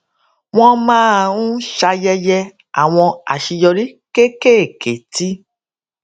wón máa ń ṣayẹyẹ àwọn àṣeyọrí kéékèèké tí